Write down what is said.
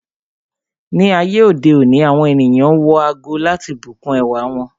Ni ayé òde òní, àwọn ènìyàn wọ ago láti bùkún ẹwà wọn.